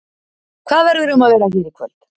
Hvað verður um að vera hér í kvöld?